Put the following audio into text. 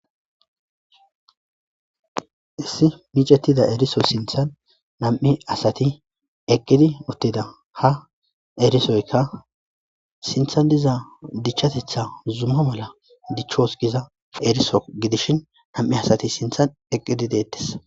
Issi biccatida eriso sinttan na'amu asati eqqidi uttida ha erisoyka sinttan diza dicchatettsa zuma mala dicchos giza eriso gidishin name asati sinttan eqqidi deettes.